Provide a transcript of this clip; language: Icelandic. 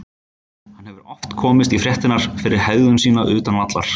Hann hefur oft komist í fréttirnar fyrir hegðun sína utan vallar.